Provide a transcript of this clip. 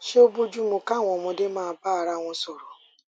ṣé ó bọju mu káwọn ọmọdé máa bá ara wọn sọrọ